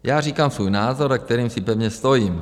Já říkám svůj názor, za kterým si pevně stojím.